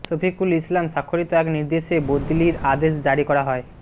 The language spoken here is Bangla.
শফিকুল ইসলাম স্বাক্ষরিত এক নির্দেশে বদলির আদেশ জারি করা হয়